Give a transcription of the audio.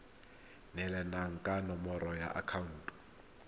neelana ka nomoro ya akhaonto